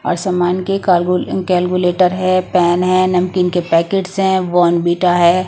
और सामान कार्गू कैलकुलेटर हैं पेन हैं नमकीन के पैकेट्स हैं वाँर्नविटा हैं।